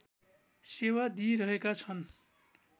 सेवा दिइरहेका छन्